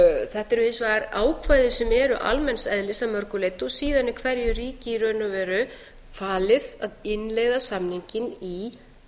þetta eru hins vegar ákvæði sem eru almenns eðlis að mörgu leyti og síðan er hverju ríki í raun og veru falið að innleiða samninginn í